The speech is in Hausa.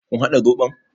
Kun haɗa zoɓon?